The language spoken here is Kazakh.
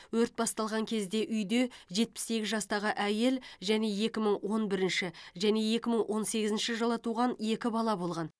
өрт басталған кезде үйде жетпіс сегіз жастағы әйел және екі мың он бірінші және екі мың он сегізінші жылы туған екі бала болған